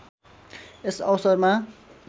यस अवसरमा